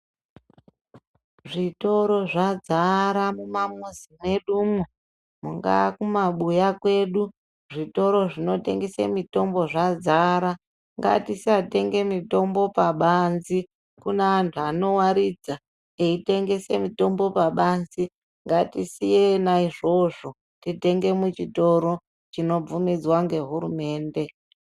Zvitoro zvadzara mumamuzi mwedumwo mungaa kumabuya kwedu zvikoro zvinotengese mitombo zvadzara ngatisatenge mitombo pabanzi, kune antu anowaridza eitengese mitombo pabanzi ngatisiye ena izvozvo titenge muchitoro chinobvumidzwa ngehurumende.